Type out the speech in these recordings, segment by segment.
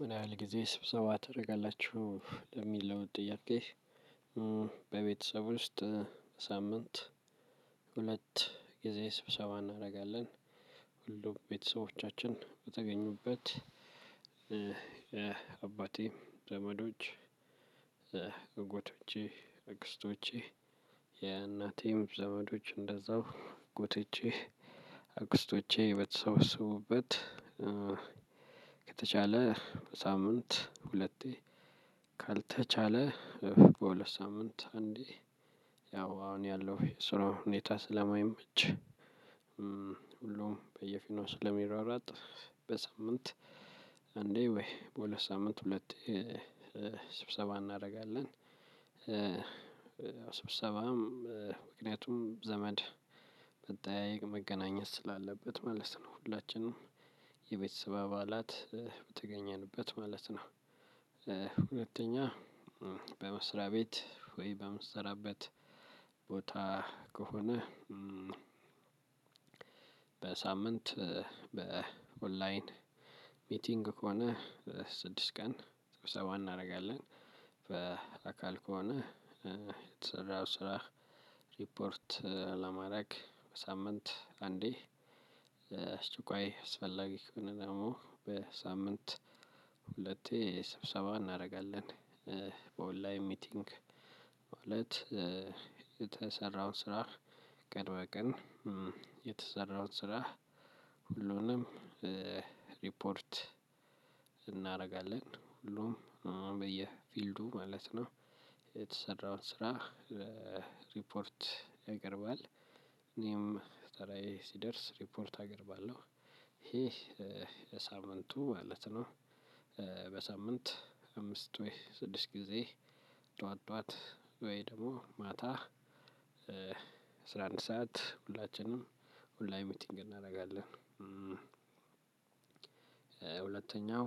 ምን ያህል ጊዜ ስብሰባ ታረጋላችሁ ለሚለውጥ ጥያቄ በቤተሰብ ውስጥ በሳምንት ሁለት ጊዜ ስብሰባ እናደርጋለን ሁሉ ቤተሰቦቻችን በተገኙበት የአባቴም ዘመዶች አጎቶቼ አክስቶቼ የእናቴም ዘመዶች እንደዛው አጎቶቼ አክስቶቼ በተሰበሰቡበት ከተቻለ በሳምንት ሁለቴ ካልተቻለ በሁለት ሳምንት አንዴ ያው አሁን ያለው የስራ ሁኔታ ስለማይመች ሁሉም በየፊናው ስለሚሯሯጥ በሳምንት አንዴ ወይ በሁለት ሳምንት ሁለት ስብሰባ እናደርጋለን። ስብሰባም ምክንያቱም ዘመድ መጠያየቅ፣ መገናኘት ስላለበት መልስ ነው። ሁላችንም የቤተሰብ አባላት በተገኘንበት ማለት ነው። ሁለተኛ፣ በመስሪያ ቤት ወይ በምሰራበት ቦታ ከሆነ በሳምንት በኦንላይን ሚቲንግ ከሆነ ስድስት ቀን ሰብሰባ እናደርጋለን። በአካል ከሆነ የተሰራው ስራ ሪፖርት ለማድረግ በሳምንት አንዴ አስቸኳይ አስፈላጊ ከሆነ ደግሞ በሳምንት ሁለቴ ስብሰባ እናደርጋለን። በኦንላይን ሚቲንግ ማለት የተሰራውን ስራ ቀን በቀን የተሰራውን ስራ ሁሉንም ሪፖርት እናደርጋለን ሁሉም በየፊልዱ ማለት ነው። የተሰራው ስራ ሪፖርት እኔም ተራዬ ሲደርስ ሪፖርት አቀርባለሁ ይሄ ለሳምንቱ ማለት ነው። በሳምንት አምስት ወይ ስድስት ጊዜ ጠዋት ጠዋት ወይ ደግሞ ማታ አስራ አንድ ሰዓት ሁላችንም ኦላይን ሚቲንግ እናደርጋለን። ሁለተኛው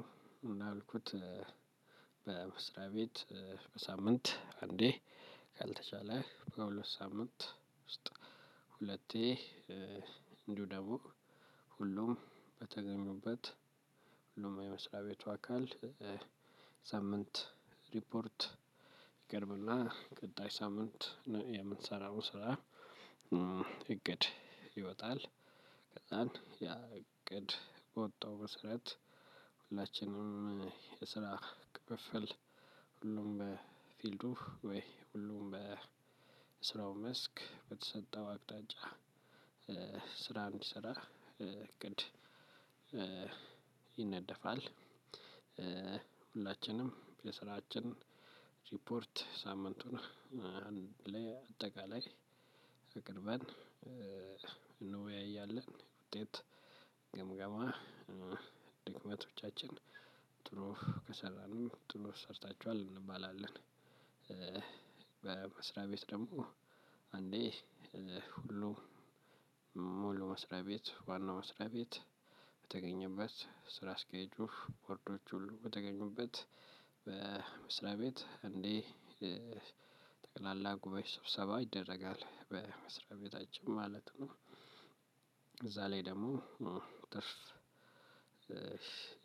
እንዳልኩት መስሪያ ቤት በሳምንት አንዴ ካልተቻለ በሳምንት ውስጥ ሁለቴ እንዲሁም ደግሞ ሁሉም በተገኙበት የመስሪያ ቤቱ አካል ሳምንት ሪፖርት ይቀርብ እና ቅጣይ ሳምንት የምንሰራው ስራ እቅድ ይወጣል፣ ከዛን ያ እቅድ በወጣው መሰረት ሁላችንም የስራ ክፍፍል ሁሉም በፊልዱ ወይ ሁሉም በስራው መስክ በተሰጠው አቅጣጫ ስራ እንዲሰራ እቅድ ይነደፋል ሁላችንም የስራችን ሪፖርት ሳምንቱን አጠቃላይ አቅርበን እንወያያለን ውጤት ግምገማ ድክመቶቻችን ጥሩ ከሰራን ጥሩ ሰርታችኋል እንባላለን። በመስሪያ ቤት ደግሞ አንዴ ሁሉም ሙሉ መስሪያ ቤት ዋናው መስሪያ ቤት በተገኘበት ስራ አስኪያጁ ቦርዶች ሁሉ በተገኙበት በመስራ ቤት እንዲህ ጉባኤ ስብሰባ ይደረጋል። በመስሪያ ቤታችን ማለት ነው እዛ ላይ ደግሞ ትርፍ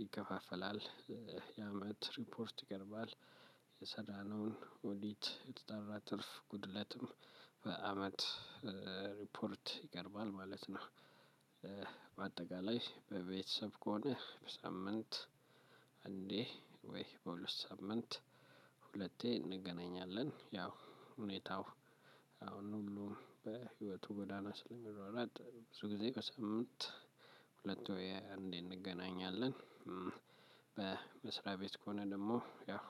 ይከፋፈላል። የአመት ሪፖርት ይቀርባል። የሰራነውን ኦዲት የተጠራ ትርፍ ጉድለትም በአመት ይቀርባል ማለት ነው። በአጠቃላይ በቤተሰብ ከሆነ በሳምንት አንዴ ወይ በሁለት ሳምንት ሁለቴ እንገናኛለን ያው ሁኔታው አሁን ሁሉም በህይወቱ ጎዳና ስለሚሯሯጥ ብዙ ጊዜ በሳምት ሁለት ወይ አንዴ እንገናኛለን። በመስሪያ ቤት ከሆነ ደግሞ ያው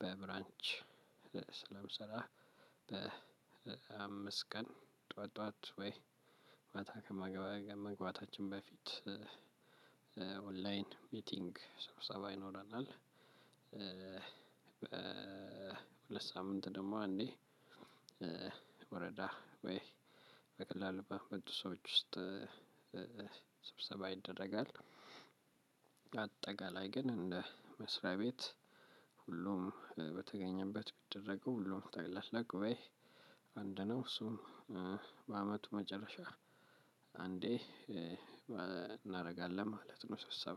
በብራንች ስለምሰራ በአምስት ቀን ጠዋት ጠዋት ወይ ማታ ከመገባገብ መግባታችን በፊት ኦንላይን ሚቲንግ ሰብሰባ ይኖረናል። በሁለት ሳምንት ደግሞ አንዴ ወረዳ ወይ በቀላሉ በቅርቡ ሰዎች ውስጥ ሰብሰባ ይደረጋል። አጠቀላይ ግን እንደ መስሪያ ቤት ሁሉም በተገኘበት ቢደረገ ሁሉም ጠቅላላ ጉባኤ አንድ ነው እሱም መጨረሻ አንዴ እናደርጋለን ማለት ነው ስብሰባ